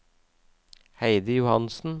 Heidi Johansen